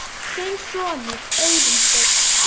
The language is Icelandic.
Þinn sonur, Auðunn Steinn.